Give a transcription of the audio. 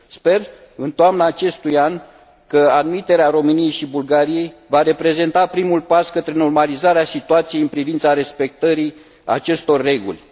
Sper că în toamna acestui an admiterea României și a Bulgariei va reprezenta primul pas către normalizarea situației în privința respectării acestor reguli.